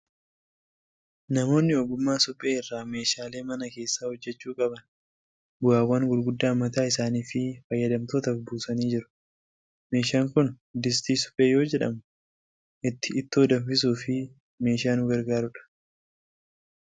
Namoonni ogummaa suphee irraa meeshaalee mana keessaa hojjechuu qaban bu'aawwan gurguddaa mataa isaanii fi fayyadamtootaaf buusanii jiru. Meeshaan kun distii suphee yoo jedhamu, ittoo itti danfisuuf meeshaa nu gargaaru dha.